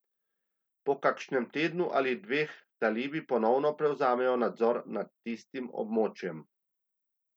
Po kakšnem tednu ali dveh talibi ponovno prevzamejo nadzor nad tistim območjem.